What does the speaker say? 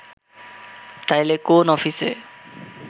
তাইলে কোন অফিসে